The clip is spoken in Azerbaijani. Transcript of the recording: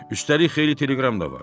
Üstəlik xeyli teleqram da vardı.